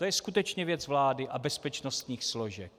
To je skutečně věc vlády a bezpečnostních složek.